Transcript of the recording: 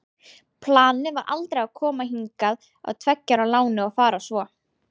Planið var aldrei að koma hingað á tveggja ára láni og fara svo.